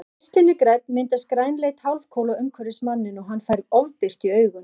Ef geislinn er grænn myndast grænleit hálfkúla umhverfis manninn og hann fær ofbirtu í augun.